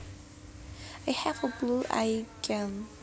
I have a blue eye gene